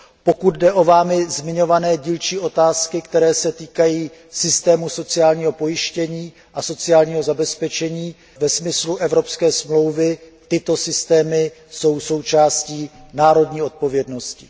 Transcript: Pokud jde o Vámi zmiňované dílčí otázky, které se týkají systému sociálního pojištění a sociálního zabezpečení ve smyslu Smlouvy o ES, tyto systémy jsou součástí národní odpovědnosti.